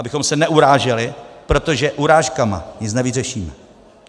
Abychom se neuráželi, protože urážkami nic nevyřešíme.